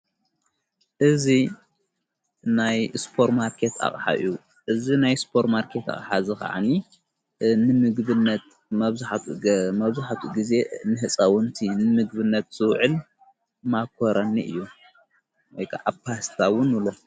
እዝ ናይ ስጶር ማርከት ኣቕሓዩ እዝ ናይ ስጶር ማርከት ሓዚ ኸዓኒ ንምግብነት መብዙኃቱ ጊዜ ንሕጸውንቲ ንምግብነት ዘውዕል ማኮረኒ እዩ ::